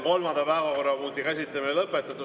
Kolmanda päevakorrapunkti käsitlemine on lõpetatud.